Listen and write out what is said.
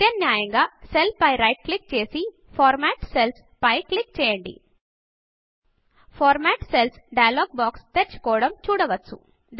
ప్రత్యామ్నాయంగా సెల్ పై right click చేసి ఫార్మాట్ Cellsఫార్మాట్ సెల్లు పై క్లిక్ చేయండి format cells format cells dialog box తెరుచుకోవడం చూడవచ్చు